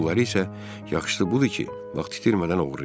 Pulları isə yaxşısı budur ki, vaxt itirmədən oğurlayım.